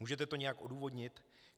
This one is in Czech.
Můžete to nějak odůvodnit?